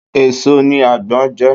Èèso ni àgbon je